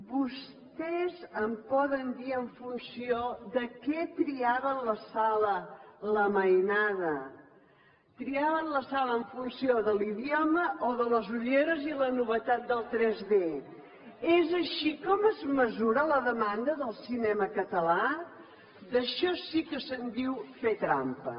vostès em poden dir en funció de què triaven la sala la mainada triaven la sala en funció de l’idioma o de les ulleres i la novetat del 3d és així com es mesura la demanda del cinema català d’això sí que se’n diu fer trampa